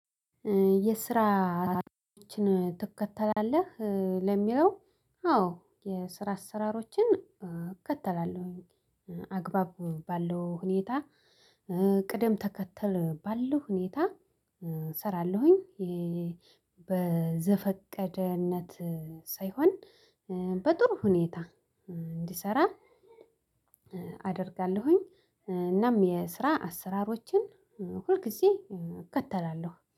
የስራ አአአ ችን ትከተላለህ ኧ ለሚለው አዎ የስራ አሰራሮችን እከተላለሁኝ አግባብ ባለው ሁኔታ ኧ ቅደም ተከተል ባለው ሁኔታ። እሰራለሁኝ የየ በዘፈቀደነት ሳይሆን በጥሩ ሁኔታ እንዲሰራ ኧ አደርጋለሁኝ ኧ እናም የስራ አሰራሮችን ሁልጊዜ እከተላለሁ